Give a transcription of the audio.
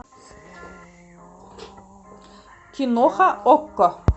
киноха окко